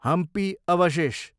हम्पी अवशेष